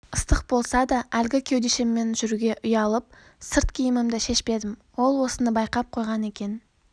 ыстық болса да әлгі кеудешеммен жүруге ұялып сырт киімімді шешпедім ол осыны байқап қойған екен